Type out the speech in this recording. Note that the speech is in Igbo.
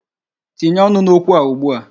Tinye ọnụ n'okwu a ugbu a.